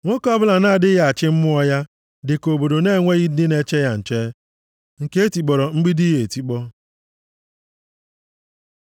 Nwoke ọbụla na-adịghị achị mmụọ ya dị ka obodo na-enweghị ndị na-eche ya nche, nke e tikpọrọ mgbidi ya etikpọ.